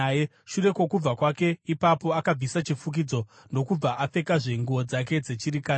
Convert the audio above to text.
Shure kwokubva kwake ipapo akabvisa chifukidzo ndokubva apfekazve nguo dzake dzechirikadzi.